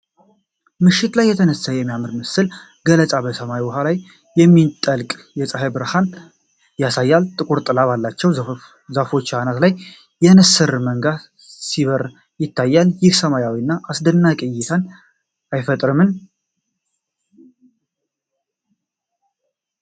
ምሽት ላይ የተነሳ የሚያምር የምስል ገለጻ በሰማያዊ ውሃ ላይ የሚጠልቅ የፀሐይን ብርቱካናማ ብርሃን ያሳያል። ጥቁር ጥላ ባላቸው ዛፎች አናት ላይ የንስር መንጋ ሲበር ይታያል፤ ይህም ሰላማዊ እና አስደናቂ እይታን አይፈጥርም?